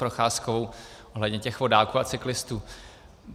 Procházkovou ohledně těch vodáků a cyklistů.